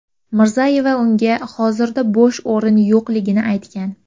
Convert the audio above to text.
Mirzayeva unga hozirda bo‘sh o‘rin yo‘qligini aytgan.